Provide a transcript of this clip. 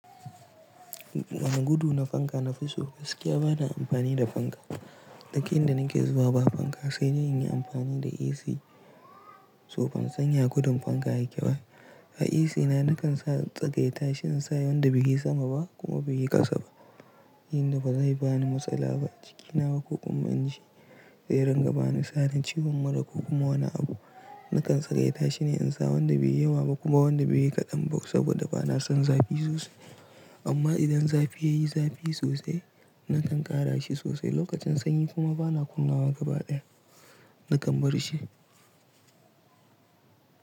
Wani gudu na fanka na fi so gaskiya bana amfani da fanka. Dakin da nake zuwa ba fanka sai dai in yi amfani da AC. So ban san yatgudun fanka yake ba. A AC na nakan sa tsagaita shi in sa wanda baiyi sama ba kuma baiyi ƙasa ba. Yin da bazai bani matsala ba a cikina ba ko kuma in shi zai rangabani sa ni ciwon mura ko kuma wani abu. Nakan tsagaita shi ne in sa wanda baiyi yawa ba kuma wanda baiyi kaɗan ba saboda bana son zafi sosai. Amma idan zafi yayi zafi sosai nakan ƙara shi sosai lokacin sanyi kuma bana kunnawa gaba ɗaya nakan bar shi.